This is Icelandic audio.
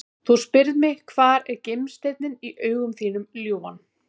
Þú spyrð mig hvar er gimsteinninn í augum þínum ljúfan?